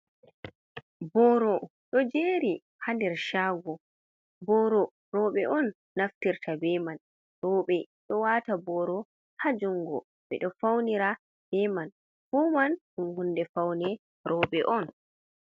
Boro ɗo jeeri haa nder shaago. Boro rowɓe on naftirta be man, rowɓe ɗo wata boro haa jungo, ɓeɗo faunira be man. Fuu man ɗum hunde faune rowɓe on.